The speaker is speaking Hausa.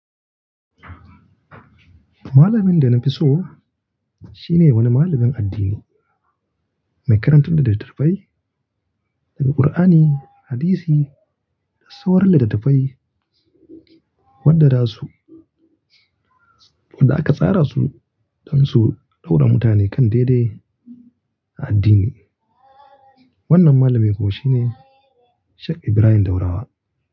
Malamin da na fi so shine wani malamin addini mai karantar da littatafai Daga Qur'ani, hadisi da sauran litattafai wadda za su wadda aka tsara su don su dau'ra mutane kan daidai a addini. Wannan malamin kuwa shine Sheikh Ibrahim Daurawa.